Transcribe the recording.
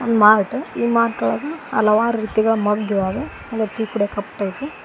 mart ಈ mart ಒಳಗ ಹಲವಾರು ರೀತಿಗಳ ಮಗ್ ಇದಾವೆ ಅಂದ್ರೇ ಟೀ ಕುಡಿಯೋ ಕಪ್ ಟೈಪು--